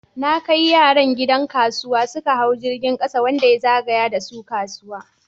Na kai yaran gidan kasuwa, suka hau jirgin kasa wanda ya zagaya da su kasuwa.